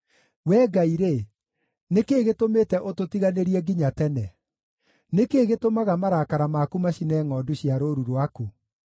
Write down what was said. Wee Ngai-rĩ, nĩ kĩĩ gĩtũmĩte ũtũtiganĩrie nginya tene? Nĩ kĩĩ gĩtũmaga marakara maku macine ngʼondu cia rũũru rwaku?